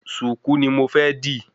Sùkú ni mo fẹ́ dī